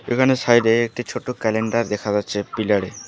এখানে সাইড -এ একটি ছোট ক্যালেন্ডার দেখা যাচ্ছে পিলার -এ।